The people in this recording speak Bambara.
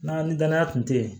N'a ni danaya tun tɛ yen